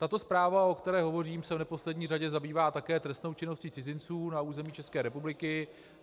Tato zpráva, o které hovořím, se v neposlední řadě zabývá také trestnou činností cizinců na území České republiky.